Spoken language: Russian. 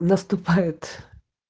наступают